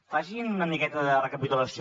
facin una miqueta de recapitulació